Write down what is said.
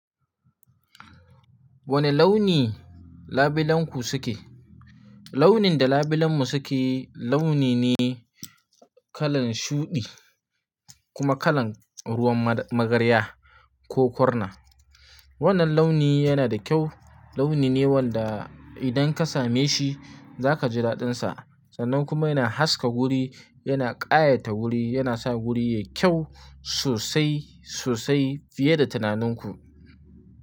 Wane launi labilenku suke? Launin da labilenmu suke launi ne kalan shuɗi, kuma kalan ruwan ma-magarya, ko korna. Wannan launi yana da kyau, launi ne wanda idan ka same shi za ka ji daɗinsa sannan kuma yana haska wuri, yana ƙayata wuri, yana sa wuri yayi kyau sosai sosai fiye da tunaninku.